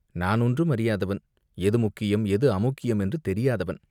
நிமிர்ந்து இட்டால் என்ன?" நான் ஒன்றும் அறியாதவன், எது முக்கியம், எது அமுக்கியம் என்று தெரியாதவன்.